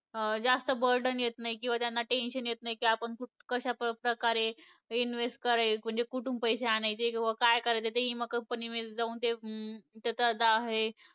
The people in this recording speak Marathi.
अं जास्त burden येत नाही किंवा त्यांना tension येत नाही की आपण क कशाप्रकारे invest करायचे म्हणजे कुठून पैसे आणायचे किंवा काय करायच, म्हणजे त्या इमा company मध्ये जाऊन हम्म ते त्याचं जा हे